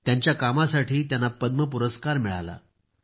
त्यांच्या कामांसाठी त्यांना पद्म पुरस्कार मिळाला आहे